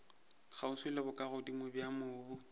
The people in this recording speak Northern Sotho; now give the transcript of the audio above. kgauswi le bokagodimo bja mobu